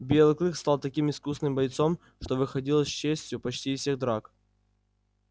белый клык стал таким искусным бойцом что выходил с честью почти из всех драк